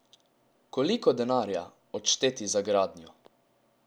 Koliko denarja odšteti za gradnjo?